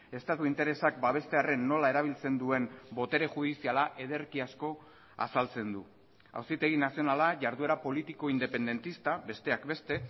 estatu interesak babestearren nola erabiltzen duen botere judiziala ederki asko azaltzen du auzitegi nazionala jarduera politiko independentista besteak beste